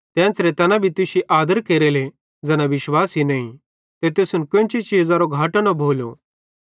ते एन्च़रां तैना भी तुश्शी आदर केरेले ज़ैना विश्वासी नईं ते तुसन कोन्ची चीज़ारो घाटो न भोलो